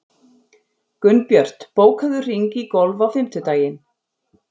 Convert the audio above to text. Gunnbjört, bókaðu hring í golf á fimmtudaginn.